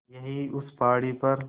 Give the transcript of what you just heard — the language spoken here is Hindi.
यहीं उस पहाड़ी पर